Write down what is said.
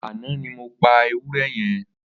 Ànã ni mó pà éwùrẹ̀ yèn